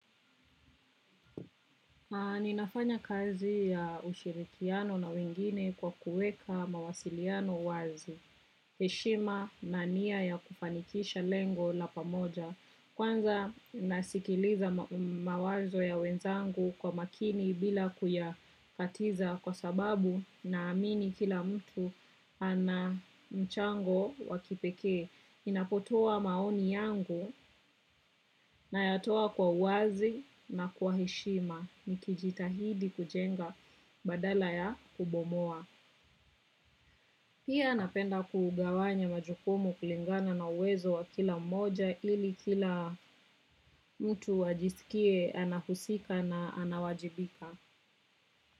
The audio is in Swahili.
Ninafanya kazi ya ushirikiano na wengine kwa kueka mawasiliano wazi, heshima na nia ya kufanikisha lengo la pamoja. Kwanza nasikiliza mawazo ya wenzangu kwa makini bila kuya katiza kwa sababu na amini kila mtu ana mchango wakipeke. Ninapotoa maoni yangu na yatoa kwa wazi na kwa heshima. Nikijitahidi kujenga badala ya kubomoa. Pia napenda kugawanya majukumu kulingana na uwezo wa kila mmoja. Ili kila mtu ajisikie anahusika na anawajibika.